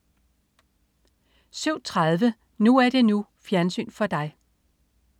07.30 NU er det NU. Fjernsyn for dig